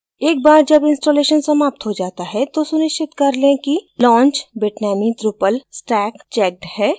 एक बार जब installation समाप्त हो जाता है तो सुनिश्चित कर लें कि launch bitnami drupal stack checked है